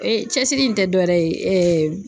cɛsiri in tɛ dɔwɛrɛ ye